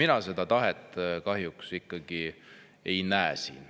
Ja seda tahet mina siin kahjuks ei näe.